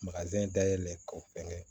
dayɛlɛ k'o fɛn kɛ